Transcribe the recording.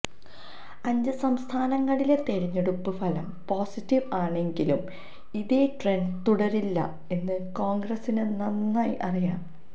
അഞ്ച് സംസ്ഥാനങ്ങളിലെ തിരഞ്ഞെടുപ്പ് ഫലം പോസിറ്റീവ് ആണെങ്കുലും ഇതേ ട്രന്റ് തുടരില്ല എന്ന് കോൺഗ്രസിന് നന്നായി അറിയാം